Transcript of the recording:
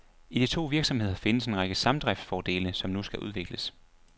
I de to virksomheder findes en række samdriftsfordele, som nu skal udvikles.